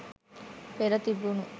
පෙර තිබුණු